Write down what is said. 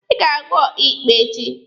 Ị ga-ahụ ọkaịkpe echi!